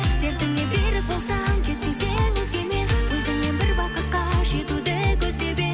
сертіңе берік болсаң кетпес едің өзгемен өзіңмен бір бақытқа жетуді көздеп едім